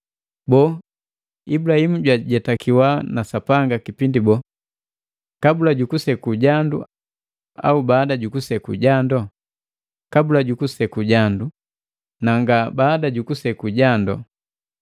Boo, Ibulahimu jwajetakiwa na Sapanga kipindi bole? Kabula jukuseku jando, au baada jukuseku jandu? Kabula jukuseku jandu, na nga baada jukuseku jando.